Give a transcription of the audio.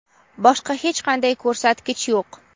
boshqa hech qanday ko‘rsatkich yo‘q.